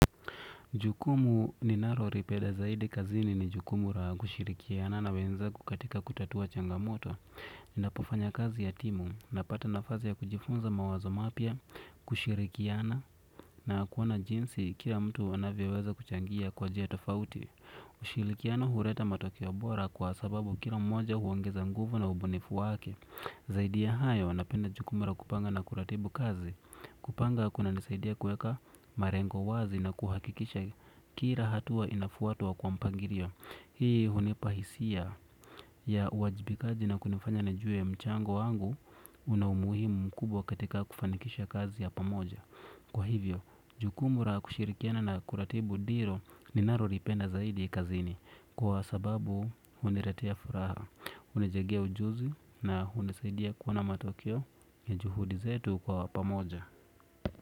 Jukumu ninalolipeda zaidi kazini ni jukumu la kushirikiana na wenzangu katika kutatua changamoto. Napofanya kazi ya timu napata nafasi ya kujifunza mawazo mapya, kushirikiana na kuona jinsi kila mtu anavyoweza kuchangia kwa njia tofauti. Ushirikiano huleta matokeo bora kwa sababu kila mmoja huongeza nguvu na ubunifu wake. Zaidi ya hayo anapenda jukumu la kupanga na kuratibu kazi. Kupanga kunanisaidia kuweka malengo wazi na kuhakikisha kila hatua inafuatwa kwa mpangilio. Hii hunipa hisia ya uajibikaji na kunifanya nijue mchango wangu. Una umuhimu mkubwa katika kufanikisha kazi ya pamoja. Kwa hivyo jukumu la kushirikiana na kuratibu ndilo ninalolipenda zaidi kazini kwa sababu hunilatea furaha, hunijengea ujuzi na hunisaidia kuona matokeo ya juhudi zetu kwa pamoja.